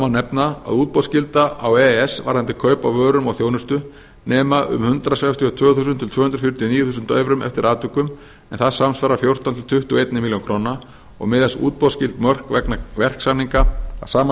nefna að útboðsskylda á e e s varðandi kaup á vörum og þjónustu nema um hundrað sextíu og tvö þúsund til tvö hundruð fjörutíu og níu þúsund evrum eftir atvikum en það samsvarar fjórtán til tuttugu og eina milljón króna og miðast útboðsskyld mörk vegna verksamninga að sama